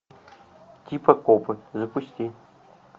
типа копы запусти